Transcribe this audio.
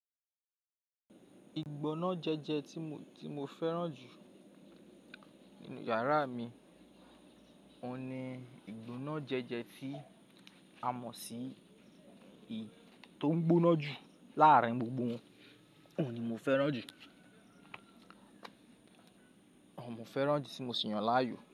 Ìgbóná jẹ́jẹ́ tí mo, tí mo fẹ́ràn jù nínú yàrá mi, òhun ni ìgbóná jẹ́jẹ́ tí a mọ̀ sí i tó ń gbóná jù láàárín gbogbo wọn. Òun ni mo fẹ́ràn jù, òhun mo fẹ́ràn jù tí mo sì ń yàn láàyò.